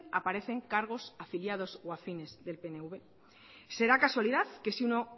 aparecen cargos afiliados o afines al pnv será casualidad que si uno